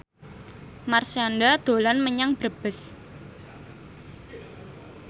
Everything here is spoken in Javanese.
Marshanda dolan menyang Brebes